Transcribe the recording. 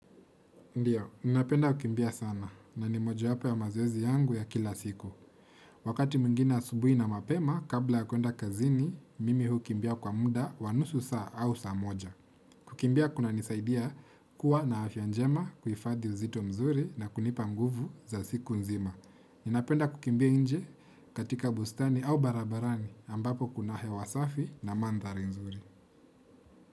Ndiyo, ninapenda kukimbia sana na ni mojawapo ya mazoezi yangu ya kila siku. Wakati mwingine asubuhi na mapema, kabla ya kwenda kazini, mimi hukimbia kwa muda wa nusu saa au saa moja. Kukimbia kunanisaidia kuwa na afya njema kuhifadhi uzito mzuri na kunipa nguvu za siku nzima. Ninapenda kukimbia nje katika bustani au barabarani ambapo kuna hewa safi na mandhari nzuri.